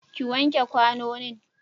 ki wanke kwanonin!